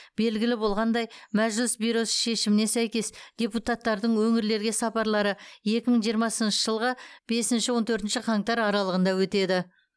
белгілі болғандай мәжіліс бюросы шешіміне сәйкес депутаттардың өңірлерге сапарлары екі мың жиырмасыншы жылғы бесінші он төртінші қаңтар аралығында өтеді